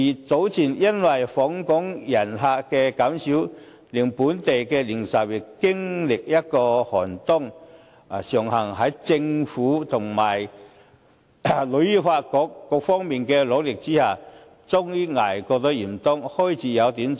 早前因為訪港旅客減少，令本地零售業經歷了一個寒冬，尚幸在政府及香港旅遊發展局等各方面的努力之下，終於捱過了嚴冬，現在開始有點春意。